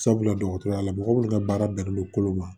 Sabula dɔgɔtɔrɔya la mɔgɔ minnu ka baara bɛnnen don kolo ma